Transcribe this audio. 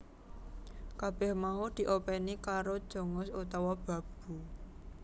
Kabèh mau diopèni karo Jongos utawa babu